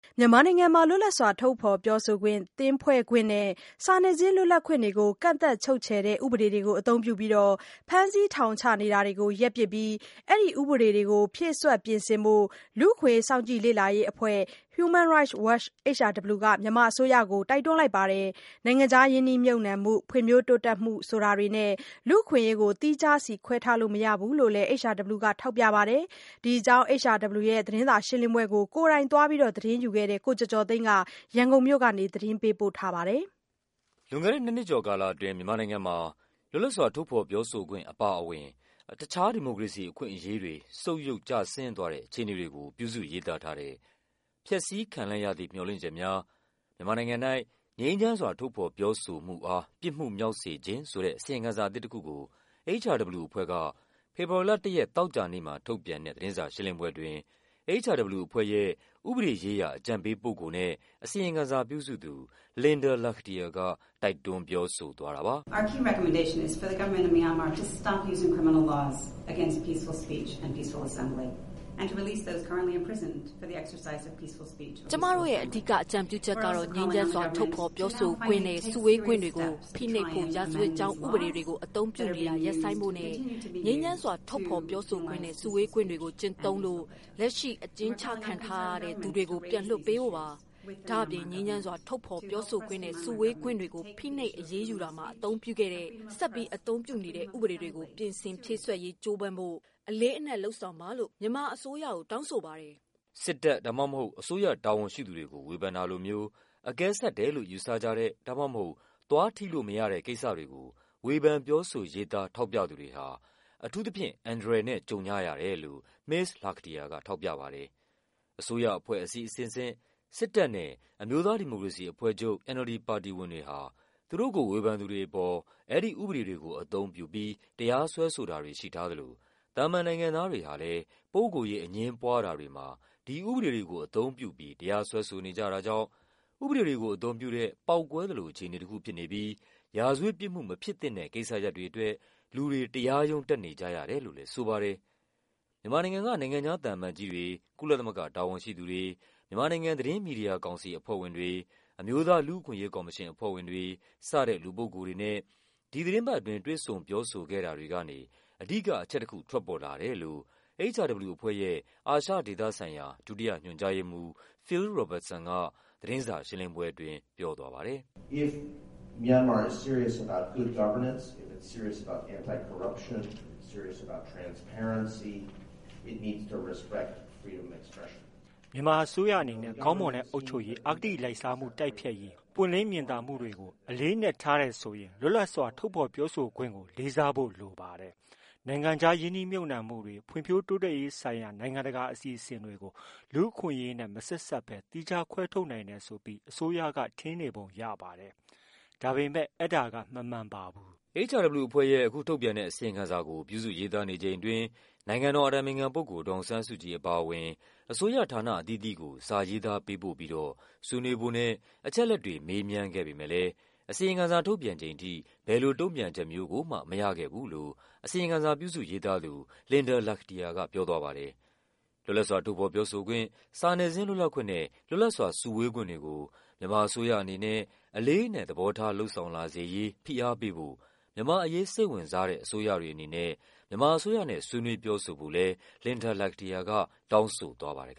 မြန်မာနိုင်ငံမှာ လွတ်လပ်စွာ ထုတ်ဖော်ပြောဆိုခွင့်၊ သင်းဖွဲ့ခွင့်နဲ့ စာနယ်ဇင်း လွတ်လပ်ခွင့် တွေကို ကန့်သတ် ချုပ်ခြယ်တဲ့ ဥပဒေတွေကိုအသုံးပြုပြီး ဖမ်းဆီးထောင်ချနေတာကို ရပ်ပစ်ပြီးတော့ အဲဒီဥပဒေတွေကို ဖြည့်စွက် ပြင်ဆင်ဖို့ လူ့အခွင့်အရေး စောင့်ကြည့် လေ့လာရေးအဖွဲ့ Human Rights Watch HRW က မြန်မာအစိုးရကို တိုက်တွန်းလိုက် ပါတယ်။ နိုင်ငံ ခြားရင်းနှီးမြှုပ်နှံမှု၊ ဖွံ့ဖြိုးတိုးတက်မှု ဆိုတာတွေနဲ့ လူ့အခွင့်အရေးကို သီးခြားစီခွဲထားလို့ မရဘူးလို့လည်း HRW က ထောက်ပြပါ တယ်။ ဒီအကြောင်း HRW ရဲ့သတင်းစာရှင်းလင်းပွဲကို ကိုယ်တိုင်သွားပြီး သတင်းယူခဲ့တဲ့ ကိုကျော်ကျော်သိန်းက ရန်ကုန်မြို့က နေ သတင်းပေးပို့ထားပါတယ်။ လွန်ခဲ့တဲ့ နှစ်နှစ်ကျော်ကာလအတွင်းမြန်မာနိုင်ငံမှာ လွတ်လပ်စွာ ထုတ်ဖော်ပြောဆိုခွင့် အပါအဝင် တခြား ဒီမိုကရေစီအခွင့် အရေးတွေ ဆုတ်ယုတ်ကျဆင်းသွားတဲ့ အခြေ အနေတွေကို ပြုစုရေးသားထားတဲ့ “ဖျက်ဆီးခံလိုက်ရသည့် မျှော်လင့်ချက်များ - မြန်မာနိုင်ငံ၌ ငြိမ်းချမ်းစွာ ထုတ်ဖော် ပြောဆိုမှုအား ပြစ်မှုမြောက်စေခြင်း” ဆိုတဲ့ အစီရင်ခံစာအသစ်တခုကို HRW အဖွဲ့က ဖေဖော်ဝါရီလ ၁ ရက် သောကြာနေ့မှာ ထုတ်ပြန်တဲ့ သတင်းစာရှင်းလင်းပွဲအတွင်း HRW အဖွဲ့ရဲ့ ဥပဒေရေးရာအကြံပေးပုဂ္ဂိုလ်နဲ့ အစီရင်ခံစာပြုစုသူ Linda Lakhdhir က တိုက်တွန်း ပြောဆိုသွားတာပါ။ “ကျမတို့ရဲ့ အဓိကအကြံပြုချက်ကတော့ ငြိမ်းချမ်းစွာ ထုတ်ဖော်ပြောဆိုခွင့်နဲ့ စုဝေးခွင့်တွေ ကို ဖိနှိပ်ဖို့ ရာဇဝတ်ကြောင်းဥပဒေ တွေကို အသုံးပြုနေတာ ရပ်ဆိုင်းဖို့နဲ့ ငြိမ်းချမ်းစွာ ထုတ်ဖော်ပြောဆိုခွင့်နဲ့ စုဝေးခွင့်တွေကို ကျင့်သုံးလို့ လက်ရှိ အကျဉ်းချခံထားရ သူတွေကို ပြန်လွှတ်ပေးဖို့ပါ။ ဒါ့အပြင် ငြိမ်းချမ်းစွာ ထုတ်ဖော်ပြောဆိုခွင့်နဲ့ စုဝေးခွင့်တွေကို ဖိနှိပ် အရေးယူတာမှာ အသုံးပြုခဲ့တဲ့၊ ဆက်ပြီးအသုံးပြုနေတဲ့ ဥပဒေတွေကို ပြင်ဆင်ဖြည့် စွက်ရေး ကြိုးစားဖို့ အလေးအနက် လုပ်ဆောင်ပါလို့ မြန်မာအစိုးရကို တောင်း ဆိုပါတယ်။” စစ်တပ် ဒါမှမဟုတ် အစိုးရတာဝန်ရှိသူတွေကို ဝေဖန်တာလိုမျိုး အကဲဆတ်တယ်လို့ ယူဆကြတဲ့ ဒါမှမဟုတ် သွားထိလို့မရတဲ့ ကိစ္စတွေကို ဝေဖန်ပြောဆိုရေးသား ထောက်ပြ သူတွေဟာ အန္တရာယ်နဲ့ အထူးသဖြင့် ကြုံကြရတယ်လို့ မစ္စ Lakhdhir က ထောက်ပြပါတယ်။ အစိုးရအဖွဲ့အစည်းအဆင့်ဆင့်၊ စစ်တပ်နဲ့ အမျိုးသားဒီမိုကရေစီအဖွဲ့ချုပ် NLD ပါတီ ဝင် တွေ ဟာ သူတို့ကိုဝေဖန်သူတွေအပေါ် အဲဒီ ဥပဒေတွေကို အသုံးပြုပြီး တရားစွဲဆိုတာ တွေ ရှိထားသလို သာမန်နိုင်ငံသားတွေဟာလည်း ပုဂ္ဂိုလ်ရေးအငြင်းပွားတာတွေမှာ ဒီ ဥပဒေတွေကို အသုံးပြုပြီး တရားစွဲဆိုနေကြတာကြောင့် ဥပဒေတွေကိုအသုံးပြုတဲ့ ပေါက်ကွဲ သလိုအခြေအနေတခုဖြစ်နေပြီး ရာဇဝတ်ပြစ်မှုမဖြစ်သင့်တဲ့ ကိစ္စရပ်တွေ အတွက် လူတွေ တရားရုံးတက်နေကြရတယ်လို့လည်း ဆိုပါတယ်။ မြန်မာနိုင်ငံက နိုင်ငံခြားသံအမတ်ကြီးတွေ၊ ကုလသမဂ္ဂတာဝန်ရှိသူတွေ၊ မြန်မာနိုင်ငံ သတင်းမီဒီယာကောင်စီအဖွဲ့ဝင်တွေ၊ အမျိုးသားလူ့အခွင့်အရေးကော်မရှင်အဖွဲ့ဝင်တွေ စတဲ့ လူပုဂ္ဂိုလ်တွေနဲ့ ဒီသီတင်းပတ်အတွင်း တွေ့ဆုံပြောဆိုခဲ့တာတွေကနေ အဓိက အချက်တခု ထွက်ပေါ်လာတယ်လို့ HRW အဖွဲ့ရဲ့ အာရှဒေသဆိုင်ရာဌာန၊ ဒုတိယ ညွှန်ကြားရေးမှူး Phil Robertson က လည်း သတင်းစာရှင်းလင်းပွဲအတွင်း ပြောသွားပါ တယ်။ “မြန်မာအစိုးရအနေနဲ့ ကောင်းမွန်တဲ့အုပ်ချုပ်ရေး၊ အဂတိလိုက်စားမှုတိုက်ဖျက်ရေး၊ ပွင့် လင်း မြင်သာမှုတွေကို အလေးအနက် ထားတယ်ဆိုရင် လွတ်လပ်စွာ ထုတ်ဖော် ပြော ဆိုခွင့်ကို လေးစားဖို့လိုပါတယ်။ နိုင်ငံခြားရင်းနှီးမြှုပ်နှံမှုတွေ၊ ဖွံ့ဖြိုးတိုးတက်ရေး ဆိုင်ရာ နိုင်ငံတကာအစီအစဉ်တွေကို လူ့အခွင့်အရေးနဲ့မဆက်စပ်ဘဲ သီးခြားခွဲထားနိုင်တယ် ဆိုပြီး အစိုးရက ထင်ပုံရပါတယ်။ ဒါပေမဲ့ အဲဒါက မမှန်ပါဘူး။” HRW အဖွဲ့ရဲ့ အခုထုတ်ပြန်တဲ့အစီရင်ခံစာကို ပြုစုရေးသားနေချိန်အတွင်း နိုင်ငံတော် အတိုင်ပင်ခံပုဂ္ဂိုလ် ဒေါ်အောင်ဆန်းစုကြည် အပါအဝင် အစိုးရဌာနအသီးသီးကို စာရေး သားပေးပို့ပြီးတော့ ဆွေးနွေးဖို့နဲ့ အချက်အလက်တွေ မေးမြန်းခဲ့ပေမယ့်လည်း အစီရင်ခံ စာ ထုတ်ပြန်ချိန်ထိ ဘယ်လိုတုန့်ပြန်ချက်မျိုးကိုမှ မရခဲ့ဘူးလို့ အစီရင်ခံစာပြုစုရေး သားသူ Linda Lakhdhir က ပြောသွားပါတယ်။ လွတ်လပ်စွာ ထုတ်ဖော်ပြောဆိုခွင့်၊ စာနယ်ဇင်းလွတ်လပ်ခွင့်နဲ့ လွတ်လပ်စွာစုဝေးခွင့်တွေ ကို မြန်မာအစိုးရအနေနဲ့ အလေးအနက် သဘောထား လုပ်ဆောင်လာစေရေး ဖိအား ပေးဖို့ မြန်မာ့အရေးစိတ်ဝင်စားတဲ့ အစိုးရတွေအနေနဲ့ မြန်မာအစိုးရနဲ့ ဆွေးနွေး ပြောဆို ဖို့လည်း Linda Lakhdhir က တောင်းဆိုသွားပါတယ်